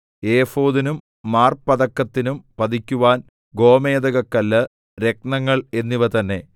ഏഫോദിനും മാർപതക്കത്തിനും പതിക്കുവാൻ ഗോമേദകക്കല്ല് രത്നങ്ങൾ എന്നിവ തന്നെ